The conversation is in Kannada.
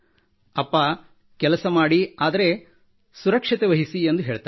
ಅಪ್ಪಾ ಕೆಲಸ ಮಾಡಿ ಆದರೆ ಸುರಕ್ಷತೆ ವಹಿಸಿ ಎಂದು ಹೇಳುತ್ತಾರೆ